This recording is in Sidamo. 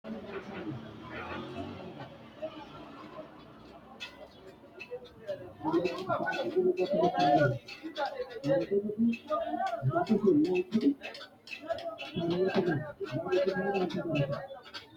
tini maa xawissanno misileeti ? mulese noori maati ? hiissinannite ise ? tini kultannori maati? Kunni mayi loosi mineetti? loosaminori maati? bayiichchu hiikkotti?